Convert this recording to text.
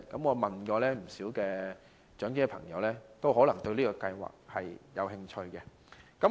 我問過不少長者朋友，他們對此計劃也感興趣。